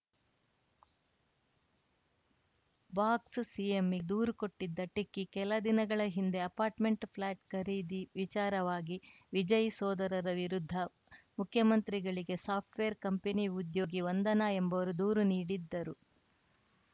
ಬಾಕ್ಸ್‌ಸಿಎಂ ದೂರು ಕೊಟ್ಟಿದ್ದ ಟೆಕ್ಕಿ ಕೆಲ ದಿನಗಳ ಹಿಂದೆ ಅಪಾರ್ಟ್‌ಮೆಂಟ್‌ ಫ್ಲ್ಯಾಟ್‌ ಖರೀದಿ ವಿಚಾರವಾಗಿ ವಿಜಯ್‌ ಸೋದರರ ವಿರುದ್ಧ ಮುಖ್ಯಮಂತ್ರಿಗಳಿಗೆ ಸಾಫ್ಟ್‌ವೇರ್‌ ಕಂಪನಿ ಉದ್ಯೋಗಿ ವಂದನಾ ಎಂಬುವರು ದೂರು ನೀಡಿದ್ದರು